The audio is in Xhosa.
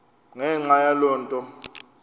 ngenxa yaloo nto